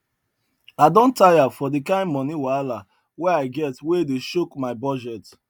i don tire for the kind money wahala wey i get wey dey choke my budget